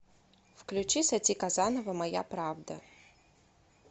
включи сати казанова моя правда